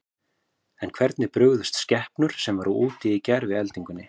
En hvernig brugðust skepnur sem voru úti í gær við eldingunni?